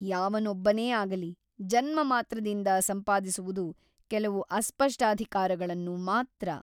ಯಾವನೊಬ್ಬನೇ ಆಗಲಿ ಜನ್ಮಮಾತ್ರದಿಂದ ಸಂಪಾದಿಸುವುದು ಕೆಲವು ಅಸ್ಪಷ್ಟಾಧಿಕಾರಗಳನ್ನು ಮಾತ್ರ.